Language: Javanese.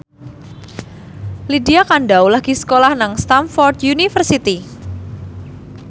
Lydia Kandou lagi sekolah nang Stamford University